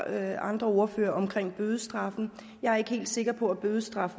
af andre ordførere omkring bødestraffen jeg er ikke helt sikker på at bødestraf